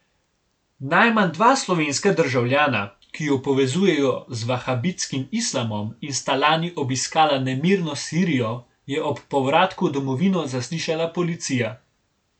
Najmanj dva slovenska državljana, ki ju povezujejo z vahabitskim islamom in sta lani obiskala nemirno Sirijo, je ob povratku v domovino zaslišala policija.